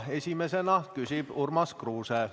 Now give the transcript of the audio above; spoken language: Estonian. Esimesena küsib Urmas Kruuse.